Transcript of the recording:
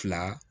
Fila